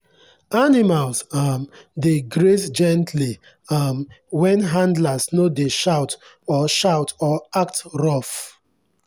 animals um dey graze gently um when handlers no dey shout or shout or act rough.